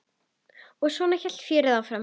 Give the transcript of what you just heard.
Og svona hélt fjörið áfram.